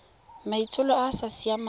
maitsholo a a sa siamang